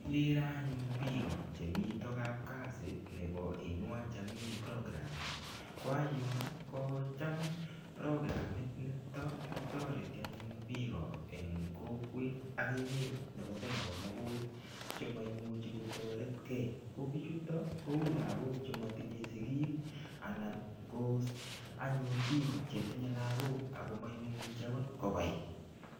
Kikere anyun piko chemito kapkazi nebo inua jamii programme. Ko anyun kocham programit nito kotoreti anyun piko eng kokwet ak emet nebo Kenya komugul che moimuchi kotoretkei, ko pichuto kou lagok che matinye sigik anan ko piko che tinye lagok ak ko maimuchi akot kobai.